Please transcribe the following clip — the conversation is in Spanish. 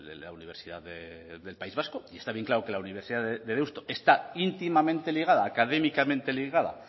la universidad del país vasco y está bien claro que la universidad de deusto está íntimamente ligada académicamente ligada